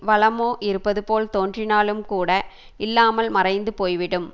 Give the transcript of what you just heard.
வளமோ இருப்பது போல் தோன்றினாலும் கூட இல்லாமல் மறைந்து போய் விடும்